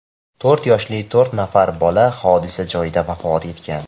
To‘rt yoshli to‘rt nafar bola hodisa joyida vafot etgan.